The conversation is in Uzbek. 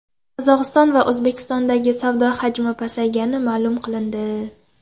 Qozog‘iston va O‘zbekiston o‘rtasidagi savdo hajmi pasaygani ma’lum qilindi.